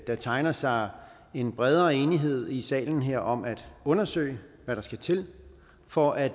der tegner sig en bredere enighed i salen her om at undersøge hvad der skal til for at